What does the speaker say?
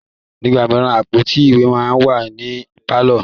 Nígbà míràn, àpótí ìwé máa ń wà ní pàlọ́